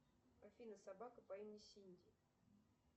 афина собака по имени синди